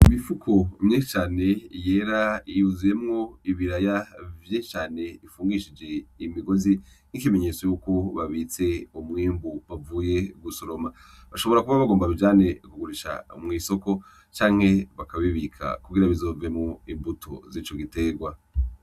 Imifuko myinshi cane yera yuzuyemwo ibiraya vyinshi cane bifungishije imigozi ikimenyetso yuko babitse umwimbu bavuye gusoroma, bashobora kuba bagomba babijane kubigurisha mw'isoko canke bakabibika kugira bizovemwo imbuto zico giterwa.